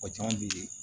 O caman be ye